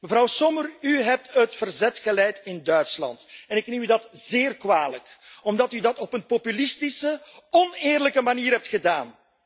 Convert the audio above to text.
Mevrouw Sommer, u hebt het verzet geleid in Duitsland en ik neem u dat zeer kwalijk omdat u dat op een populistische, oneerlijke manier hebt gedaan.